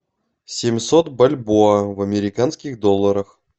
семьсот бальбоа в американских долларах